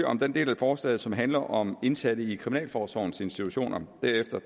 om den del af forslaget som handler om indsatte i kriminalforsorgens institutioner derefter